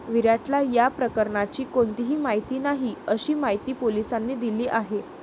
विराटला या प्रकरणाची कोणतीही माहिती नाही, अशी माहिती पोलिसांनी दिली आहे.